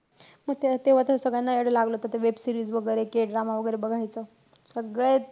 हा तेव्हा त सगळ्यांना वेड लावलं होतं ते web series वैगेरे, kdrama वैगेरे बघायचा.